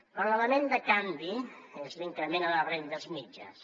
però l’element de canvi és l’increment a les rendes mitjanes